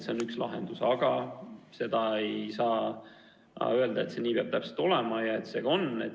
See on üks lahendus, aga ei saa öelda, et see peab täpselt nii olema ja et see nii ka on.